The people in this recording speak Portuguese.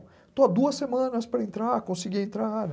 Estou há duas semanas para entrar, consegui entrar, né?